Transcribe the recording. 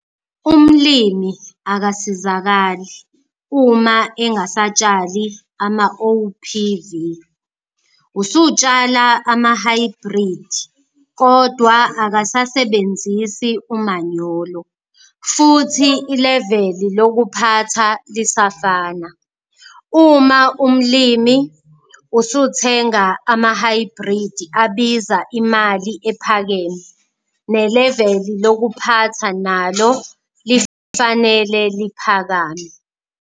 Umlimi akasizakali uma engasatshali amaOPV, usutshala amahhayibhridi kodwa akasasebenzisi umanyolo futhi ileveli lokuphatha lisafana. Uma umlimi usuthenga amahhayibhridi abiza imali ephakeme, neleveli lokuphatha nalo lifanele liphakame.